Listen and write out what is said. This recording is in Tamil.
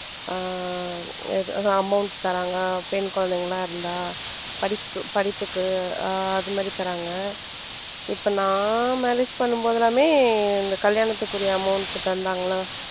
ஆஹ் amount தர்றாங்க பெண் குழந்தைங்க எல்லாம் இருந்தா படிப்பு படிப்புக்கு ஆஹ் அது மாதிரி தர்றாங்க இப்ப நான் marriage பண்ணும்போதெல்லாமே இந்த கல்யாணத்துக்குரிய amount தந்தாங்களா